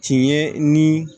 Tiɲɛ ni